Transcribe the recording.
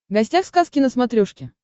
гостях сказки на смотрешке